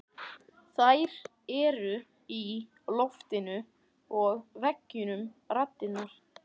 Þær eru í loftinu og veggjunum raddirnar.